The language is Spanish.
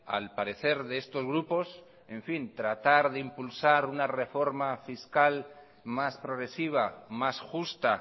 al parecer de estos grupos tratar de impulsar una reforma fiscal más progresiva más justa